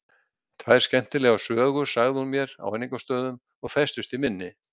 Tvær skemmtilegar sögur sagði hún mér í áningarstöðum og festust í minni.